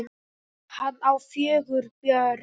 Hann á fjögur börn.